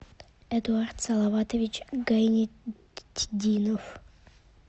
эдуард салаватович гайетдинов